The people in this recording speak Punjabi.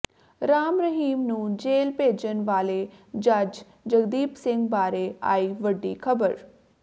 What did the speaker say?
ਰਾਮ ਰਹੀਮ ਨੂੰ ਜੇਲ ਭੇਜਣ ਵਾਲੇ ਜੱਜ ਜਗਦੀਪ ਸਿੰਘ ਬਾਰੇ ਆਈ ਵੱਡੀ ਖਬਰ